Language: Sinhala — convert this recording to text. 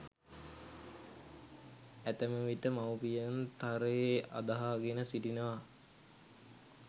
ඇතැම විට මවුපියන් තරයේ අදහාගෙන සිටිනවා